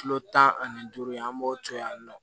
Kilo tan ani duuru ye an b'o to yen nɔ